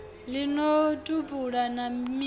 ḽi no tupula na midzi